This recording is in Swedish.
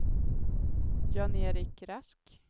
Jan-Erik Rask